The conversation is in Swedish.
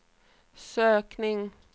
sökning